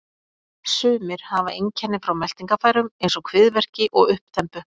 Sumir hafa einkenni frá meltingarfærum eins og kviðverki og uppþembu.